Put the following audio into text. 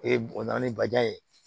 Ee bɔnna ni bajan ye